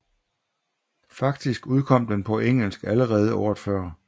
Faktisk udkom den på engelsk allerede året før